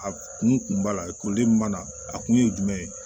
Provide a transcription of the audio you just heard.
A kun b'a la ekɔli min b'a la a kun ye jumɛn ye